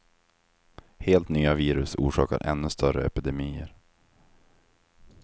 Helt nya virus orsakar ännu större epidemier.